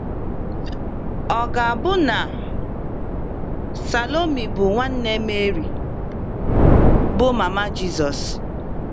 Ọ ga - abụ na Salomi bụ nwanne Meri, bụ́ mama Jizọs.